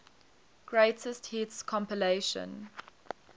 greatest hits compilation